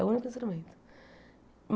É o único instrumento.